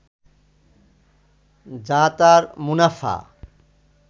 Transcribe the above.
যা তার মুনাফা